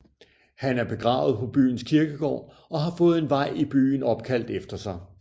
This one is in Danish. Han er begravet på byens kirkegård og har fået en vej i byen opkaldt efter sig